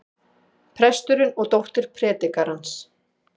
Presturinn og dóttir predikarans.